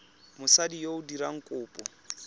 mosadi yo o dirang kopo